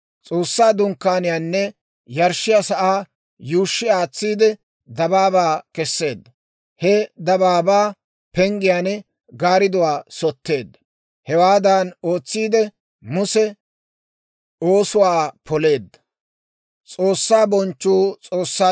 S'oossaa Dunkkaaniyaanne yarshshiyaa sa'aa yuushshi aatsiide dabaabaa keseedda; he dabaabaa penggiyaan gaaridduwaa sotteedda. Hewaadan ootsiidde, Muse oosuwaa poleedda.